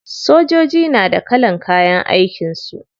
Sojoji na da kalan kayan aikin su.